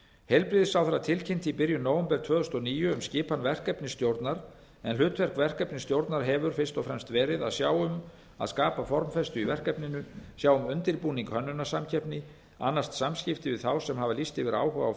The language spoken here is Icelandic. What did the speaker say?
heilbrigðisráðherra tilkynnti í byrjun nóvember tvö þúsund og níu um skipan verkefnisstjórnar en hlutverk verkefnisstjórnar hefur fyrst og fremst verið að sjá um að skapa formfestu í verkefninu sjá um undirbúning hönnunarsamkeppni annast samskipti við þá sem hafa lýst yfir áhuga á